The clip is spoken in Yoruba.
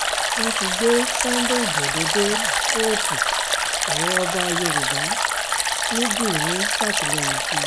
wọ́n ti gbé sunday igbodò dé kóòtù àwọn ọba yorùbá ni benin ṣàtìlẹ́yìn fún un